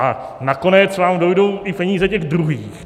A nakonec vám dojdou i peníze těch druhých.